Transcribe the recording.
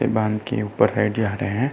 Van के ऊपर जा रहे हैं।